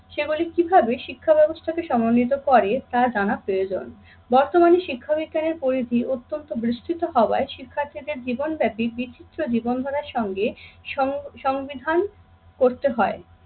সেগুলি কিভাবে শিক্ষা ব্যবস্থাকে সম্মানিত করে তা জানা প্রয়োজন। বর্তমানে শিক্ষাবিজ্ঞানের পরিধি অত্যন্ত বিস্তৃত হওয়ায় শিক্ষার্থীদের জীবনব্যাপী বিচিত্র জীবন ধারার সঙ্গে সম~ সংবিধান করতে হয়।